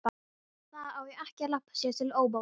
Það á ekki að labba sér til óbóta.